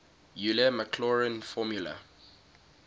euler maclaurin formula